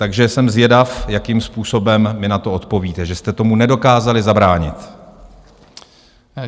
Takže jsem zvědav, jakým způsobem mi na to odpovíte, že jste tomu nedokázali zabránit.